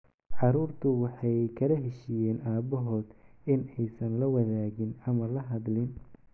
Carruurtu waxay kala heshiiyeen aabahood in aysan la wadaagin ama la hadlin.